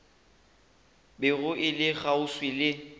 bego e le kgauswi le